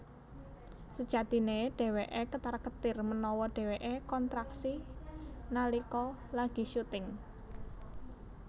Sejatiné dhéwéké ketar ketir menawa dheweké kontraksi nalika lagi syuting